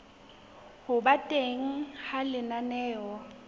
ho ba teng ha lenaneo